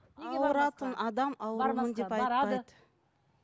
ауыратын адам аурумын деп айтпайды